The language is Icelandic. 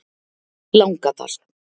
Langadal